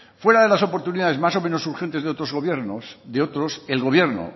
fuera de las oportunidades más o menos urgentes de otros gobiernos de otros el gobierno